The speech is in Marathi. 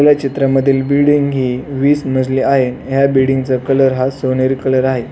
आपल्या चित्रा मधील बिल्डिंग ही वीस मजली आहे. या बिल्डिंगचा कलर हा सोनेरी कलर आहे.